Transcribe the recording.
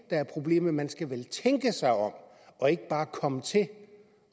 er problemet man skal vel tænke sig om og ikke bare komme til